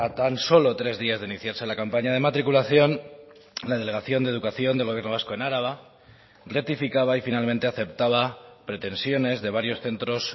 tan solo tres días de iniciarse la campaña de matriculación la delegación de educación del gobierno vasco en araba rectificaba y finalmente aceptaba pretensiones de varios centros